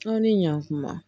Aw ni ɲankuma